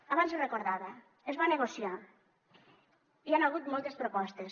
abans ho recordava es va negociar hi han hagut moltes propostes